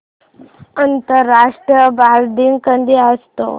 आंतरराष्ट्रीय बालदिन कधी असतो